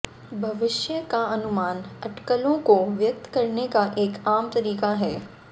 भविष्य का अनुमान अटकलों को व्यक्त करने का एक आम तरीका है